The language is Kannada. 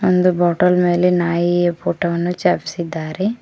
ಒಂದು ಬಾಟಲ್ ಮೇಲೆ ನಾಯಿಯ ಚಿತ್ರವನ್ನು ಚಾಪಿಸಿದ್ದಾರೆ.